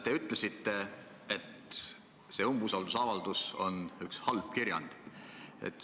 Te ütlesite, et see umbusaldusavaldus on üks halb kirjand.